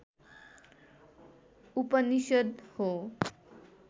उपनिषद् हो